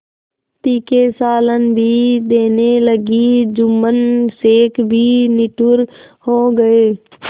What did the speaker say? तीखे सालन भी देने लगी जुम्मन शेख भी निठुर हो गये